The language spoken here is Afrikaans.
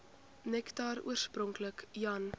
nektar oorspronklik jan